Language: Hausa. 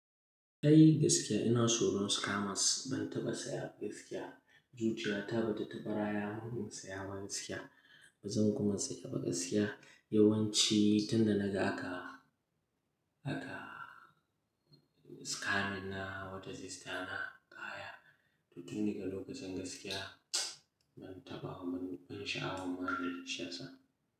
Kai gaskiya ina tsoron scammers. Ban taɓa saya gaskiya. Zuciya ta ba ta taɓa raya mun saya ba gaskiya. Ba zan kuma taba siya yawanci tunda naga aka, aka scam min na wata sister na kaya. To tun daga lokacin gaskiya ban taɓa mun, ban sha'awar ma dai shiyasa.